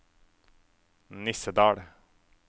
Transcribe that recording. Nissedal